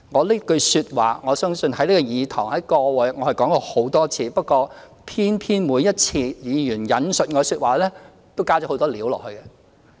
這句說話我已在這個議事堂上說了很多次，但偏偏每一次議員引述我的說話時，都"加了很多料"。